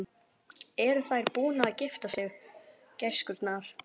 Eru þær búnar að gifta sig, gæskurnar?